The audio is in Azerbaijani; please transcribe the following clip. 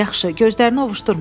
Yaxşı, gözlərini ovuşdurma.